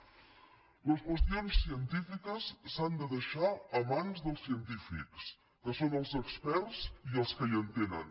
les qüestions científiques s’han de deixar a mans dels científics que són els experts i els que hi entenen